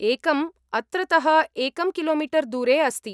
एकम् अत्रतः एकं किलोमीटर् दूरे अस्ति।